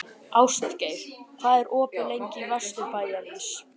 Ástgeir, hvað er opið lengi í Vesturbæjarís?